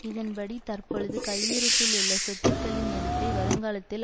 இதன்படி தற்பொழுது கையிருப்பிலுள்ள சொத்துக்களின் மதிப்பை வருங்காலத்தில்